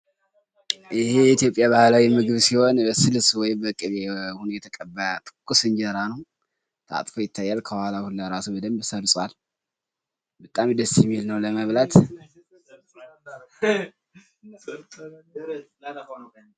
ይሄ የኢትዮጵያ ባህላዊ ምግብ ሲሆን በስልስ ወይም በቅቤ ሆኖ የተቀባ ትኩስ እንጀራ ነዉ። ታጥፎ ይታያል። ከኋላዉ ሁላ እራሱ በደንብ ሰርጿል። በጣም ደስ የሚል ነዉ ለመብላት።